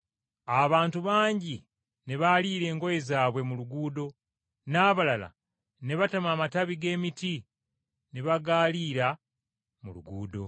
Abantu bangi ne baaliira engoye zaabwe mu luguudo n’abalala ne batema amatabi g’emiti ne bagaalira mu luguudo.